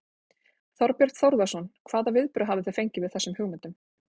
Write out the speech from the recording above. Þorbjörn Þórðarson: Hvaða viðbrögð hafið þið fengið við þessum hugmyndum?